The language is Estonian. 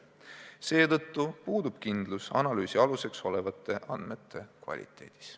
Seetõttu puudub kindlus analüüsi aluseks olevate andmete kvaliteedis.